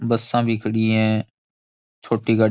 बसां भी खड़ी है छोटी गाड़ी --